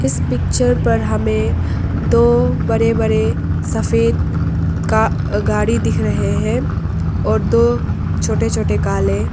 इस पिक्चर पर हमें दो बड़े बड़े सफेद का गाड़ी दिख रहे हैं और दो छोटे छोटे काले--